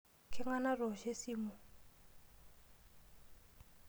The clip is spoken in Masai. Keng'ae natoosho esimu?